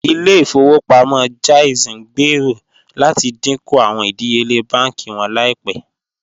Ìlẹ̀-ifowopamọ JAIZ ngbéèrò láti díńkú awọn ìdíyèle bánkì wọn laípẹ̀.